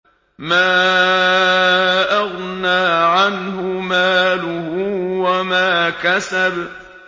مَا أَغْنَىٰ عَنْهُ مَالُهُ وَمَا كَسَبَ